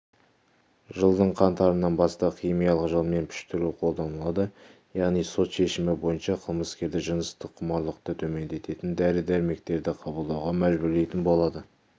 жылдың қаңтарынан бастап химиялық жолмен піштіру қолданылады яғни сот шешімі бойынша қылмыскерді жыныстық құмарлықты төмендететін дәрі-дәрмектерді қабылдауға мәжбүрлейтін болады